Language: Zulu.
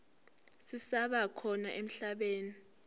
zisaba khona emhlabeni